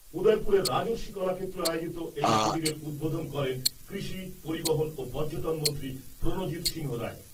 উদয়পুরের রাজর্ষি কলাক্ষেত্রে আয়োজিত এই শিবিরের উদ্বোধন করেন কৃষি, পরিবহন ও পর্যটন মন্ত্রী প্রণজিৎ সিংহরায়।